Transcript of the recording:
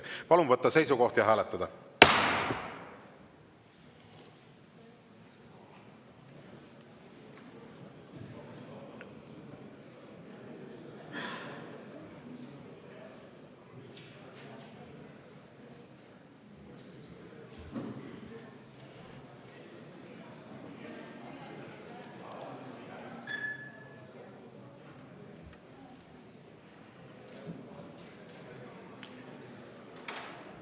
Palun võtta seisukoht ja hääletada!